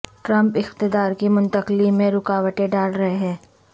Trump اقتدار کی منتقلی میں رکاوٹیں ڈال رہے ہیں